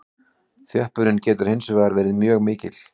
Þjöppunin getur hins vegar verið mjög mikil.